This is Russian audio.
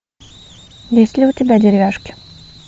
есть ли у тебя деревяшки